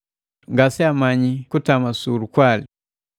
Ngaseamanyi kutama su lukwali.”